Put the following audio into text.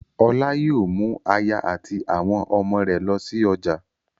Ọlá yóò mú aya àti àwọn ọmọ rẹ̀ lọ sí ọjà